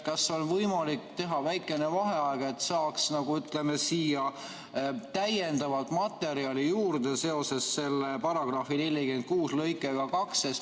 Kas on võimalik teha väikene vaheaeg, et saaksime täiendavat materjali juurde selle § 46 lõike 2 kohta?